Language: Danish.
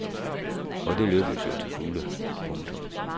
Og det lykkedes jo til fulde. punktum